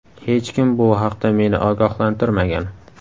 Hech kim bu haqda meni ogohlantirmagan.